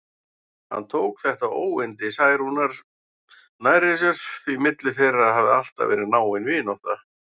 Hún tók þetta óyndi Særúnar nærri sér, því milli þeirra hafði alltaf verið náin vinátta.